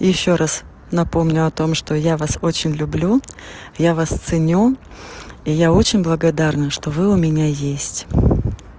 ещё раз напомню о том что я вас очень люблю я вас ценю я очень благодарна что вы у меня есть